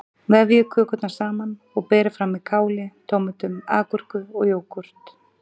Vefjið kökurnar saman og berið fram með káli, tómötum, agúrku og jógúrt.